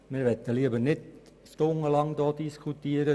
Wir möchten hier nicht stundenlang diskutieren.